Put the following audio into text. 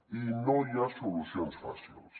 i no hi ha solucions fàcils